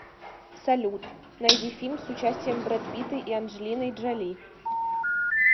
салют найди фильм с участием брэд питта и анджелиной джоли